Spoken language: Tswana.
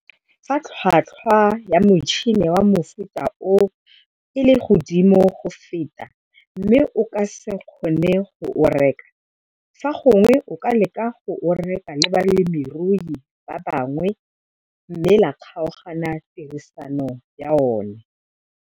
Fa tlhotlhwa ya motšhene wa mofuta o e le godimo go feta mme o ka se kgone go o reka, fa gongwe o ka leka go o reka le balemirui ba bangwe mme la kgaoganya tiriso ya ona.